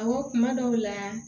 Awɔ kuma dɔw la